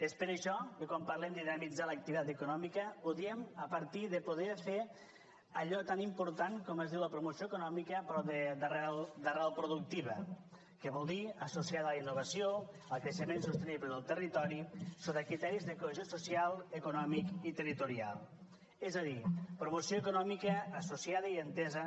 és per això que quan parlem de dinamitzar l’activitat econòmica ho diem a partir de poder fer allò tan important com és la promoció econòmica però d’arrel productiva que vol dir associada a la innovació al creixement sostenible del territori sota criteris de cohesió social econòmic i territorial és a dir promoció econòmica associada i entesa